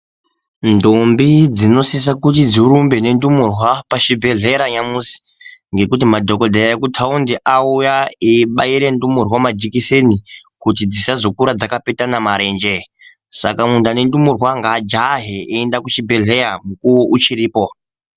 Ndombi dzinosisa kuti dzirumbe nendumurwa pachibhedhlera yamusi ngekuti madhokoteya ekutaundi auya eibaire ndumurwa majikiseni kuti dzisazokura takapetana marenje. Saka muntu ane ndumurwa ngaajahe eienda kuchibhedhleya mukuwo uchiripo.